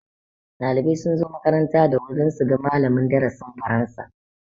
Ɗaliban sun zo makaranta da wuri dan su ga malamin darasin faransa